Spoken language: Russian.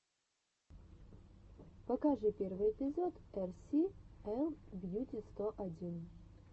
покажи первый эпизод эр си эл бьюти сто один